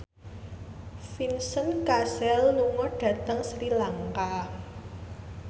Vincent Cassel lunga dhateng Sri Lanka